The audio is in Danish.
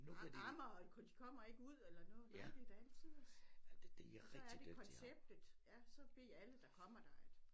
Amme og de kommer ikke ud eller noget det da alletiders så er det konceptet ja så ved alle der kommer der at